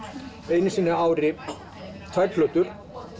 einu sinni á ári tvær plötur